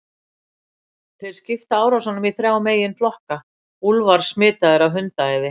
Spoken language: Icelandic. Þeir skipta árásunum í þrjá meginflokka: Úlfar smitaðir af hundaæði.